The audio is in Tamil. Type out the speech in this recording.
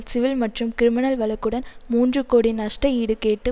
சிவில் மற்றும் கிரிமினல் வழக்குடன் மூன்று கோடி நஷ்டஈடு கேட்டு